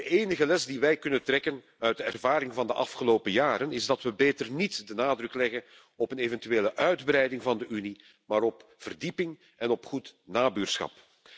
De enige les die wij kunnen trekken uit de ervaring van de afgelopen jaren is dat we beter niet de nadruk leggen op een eventuele uitbreiding van de Unie, maar op verdieping en op goed nabuurschap.